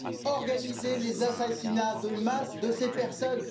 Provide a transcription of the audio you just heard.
a organisé les assassinats de masse de ces personnes?